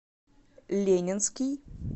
ленинский